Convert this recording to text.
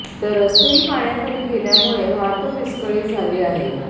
तर रस्तेही पाण्याखाली गेल्यामुळे वाहतूक विस्कळीत झाली आहे